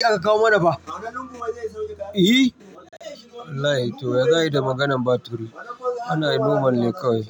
Karka kawo mana fa. Ehi? Wallahi to ya daɗe da maganan battery. Anayi normal kawai.